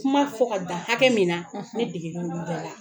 Kuma fɔ ka dan hakɛ min na ne degera be la.